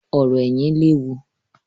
Ọ̀rò ẹ̀yìn léwu